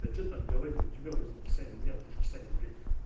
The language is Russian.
да что там говорить у тебя в узбекистане у меня в таджикистане блять